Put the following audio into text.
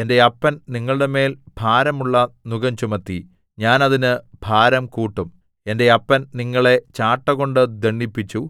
എന്റെ അപ്പൻ നിങ്ങളുടെമേൽ ഭാരമുള്ള നുകം ചുമത്തി ഞാൻ അതിന് ഭാരം കൂട്ടും എന്റെ അപ്പൻ നിങ്ങളെ ചാട്ടകൊണ്ട് ദണ്ഡിപ്പിച്ചു